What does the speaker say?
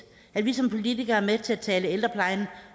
at vi som politikere er med til at tale ældreplejen